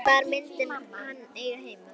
Hvar myndi hann eiga heima?